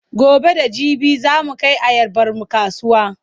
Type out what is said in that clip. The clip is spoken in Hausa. Gobe da jibi za mu kai ayabarmu kasuwa.